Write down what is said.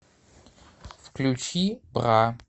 включи бра